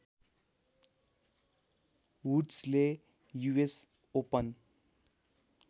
वुड्सले US open